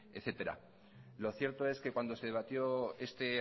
etcétera lo cierto es que cuando se debatió este